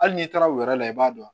Hali n'i taara o yɛrɛ la i b'a dɔn